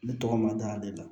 Ne tɔgɔ mada de la